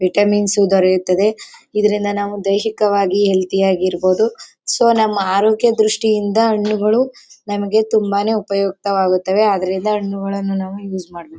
Vitamins ದೊರೆಯುತ್ತದೆ. ಇದರಿಂದ ನಾವು ದೈಹಿಕವಾಗಿ ಹೆಲ್ತಿ ಆಗಿ ಇರಬಹುದು. ಸೊ ನಮ್ಮ ಆರೋಗ್ಯ ದೃಷ್ಟಿಯಿಂದ ಹಣ್ಣುಗಳು ನಮಗೆ ತುಂಬಾನೇ ಉಪಯುಕ್ತವಾಗುತ್ತವೆ. ಆದರಿಂದ ಹಣ್ಣುಗಳನ್ನು ನಾವು ಯೂಸ್ ಮಾಡಬೇಕು.